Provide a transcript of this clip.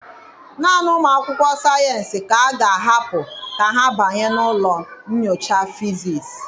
Naanị ụmụ akwụkwọ sayensị ka a ga-ahapụ ka ha banye na ụlọ nyocha fizis.